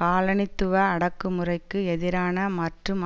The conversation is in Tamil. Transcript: காலனித்துவ அடக்குமுறைக்கு எதிரான மற்றும்